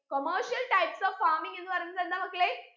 commercial types of farming എന്ന് പറയുന്നത് എന്താ മക്കളെ